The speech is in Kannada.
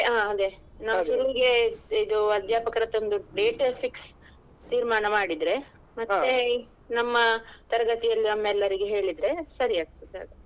ಹ ಅದೇ ನಾವ್ ಶುರುವಿಗೆ ಇದು ಅಧ್ಯಾಪಕರತ್ರ ಒಂದು date fix ತೀರ್ಮಾನ ಮಾಡಿದ್ರೆ. ಮತ್ತೆ ನಮ್ಮ ತರಗತಿಯಲ್ಲಿ ಒಮ್ಮೆ ಎಲ್ಲರಿಗೆ ಹೇಳಿದ್ರೆ ಸರಿ ಆಗ್ತದೆ ಆಗ.